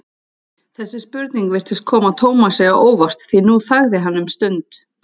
Þessi spurning virtist koma Tómasi á óvart því nú þagði hann um stund.